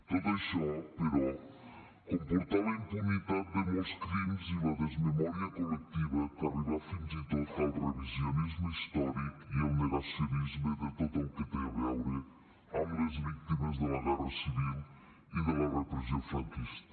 tot això però comportà la impunitat de molts crims i la desmemòria col·lectiva que arribà fins i tot al revisionisme històric i al negacionisme de tot el que té a veure amb les víctimes de la guerra civil i de la repressió franquista